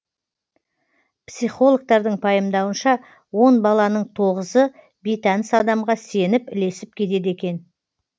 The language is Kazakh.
психологтардың пайымдауынша он баланың тоғызы бейтаныс адамға сеніп ілесіп кетеді екен